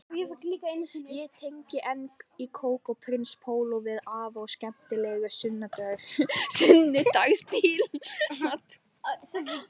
Ég tengi enn kók og prins póló við afa og skemmtilegu sunnudagsbíltúrana